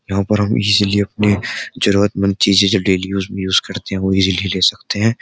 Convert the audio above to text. यहां पर हम इजली अपने जरूरतमंद चीजें जो डेली यूज़ में यूज़ करते हैं वह इजली ले सकते हैं।